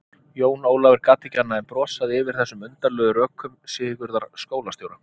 Jón Ólafur gat ekki annað en brosað yfir þessum undarlegu rökum Sigurðar skólastjóra.